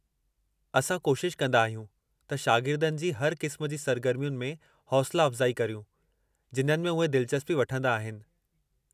असां कोशिश कंदा आहियूं त शागिर्दनि जी हर क़िस्म जी सर्गर्मियुनि में हौसला अफ़्ज़ाई करियूं जिन्हनि में उहे दिलचस्पी वठंदा आहिनि।